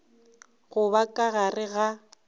go ba ka gare ga